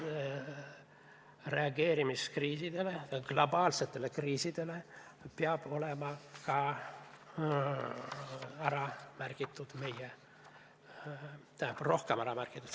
Reageerimine globaalsetele kriisidele peaks olema ka siin dokumendis ära märgitud.